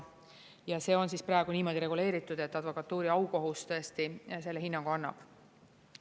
Ja see on praegu niimoodi reguleeritud, et advokatuuri aukohus tõesti selle hinnangu annab.